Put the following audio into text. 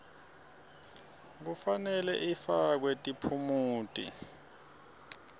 kufanele ifakwe tiphumuti